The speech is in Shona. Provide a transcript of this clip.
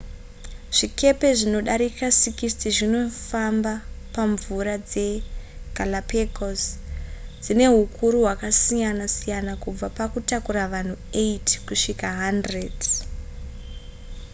zvikepe zvinodarika 60 zvinofamba pamvura dzegalapagos dzine hukuru hwakasiyana siyana kubva pakutakura vanhu 8 kusvika 100